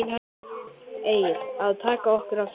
Egill: Að taka okkur af þessum lista?